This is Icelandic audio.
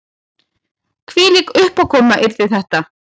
Hvílík uppákoma yrði þetta